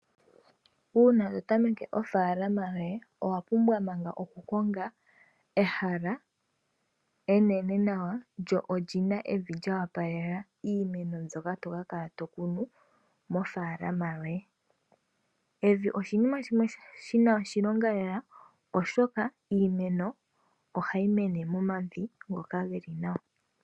Uun to tameke ofaalama yoye owa pumbwa manga okukonga ehala enene nawa lyo lina evi lyo opalela iimeno mbyoka toka kala to kunu mofaalama yoye. Evi oshinima shimwe shina oshilonga lela oshoka iimeno ohayi mene momavi ngoka geli nawa.